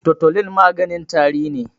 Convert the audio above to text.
totulin maganin tari ne